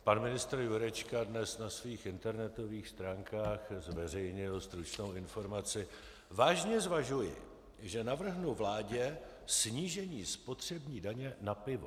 Pan ministr Jurečka dnes na svých internetových stránkách zveřejnil stručnou informaci: "Vážně zvažuji, že navrhnu vládě snížení spotřební daně na pivo.